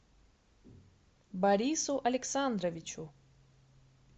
борису александровичу